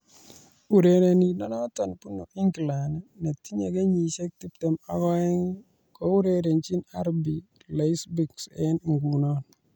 Urerenindenoto bunu England netinye kenyisiek tiptem ak oeng kourerenjin RB Leipzig eng nguno